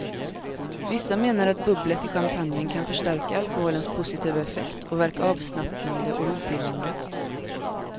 Vissa menar att bubblet i champagnen kan förstärka alkoholens positiva effekt och verka avslappnande och rofyllande.